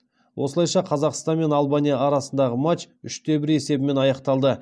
осылайша қазақстан мен албания арасындағы матч үш те бір есебімен аяқталды